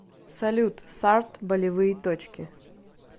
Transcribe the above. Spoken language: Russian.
салют сард болевые точки